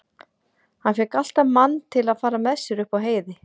Hann fékk alltaf mann til að fara með sér upp á heiði.